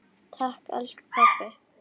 Takk elsku pabbi.